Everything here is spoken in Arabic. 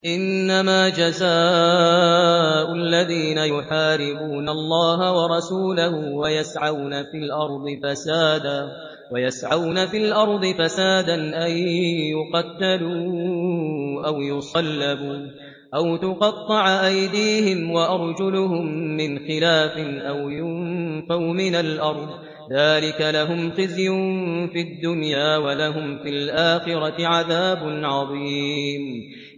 إِنَّمَا جَزَاءُ الَّذِينَ يُحَارِبُونَ اللَّهَ وَرَسُولَهُ وَيَسْعَوْنَ فِي الْأَرْضِ فَسَادًا أَن يُقَتَّلُوا أَوْ يُصَلَّبُوا أَوْ تُقَطَّعَ أَيْدِيهِمْ وَأَرْجُلُهُم مِّنْ خِلَافٍ أَوْ يُنفَوْا مِنَ الْأَرْضِ ۚ ذَٰلِكَ لَهُمْ خِزْيٌ فِي الدُّنْيَا ۖ وَلَهُمْ فِي الْآخِرَةِ عَذَابٌ عَظِيمٌ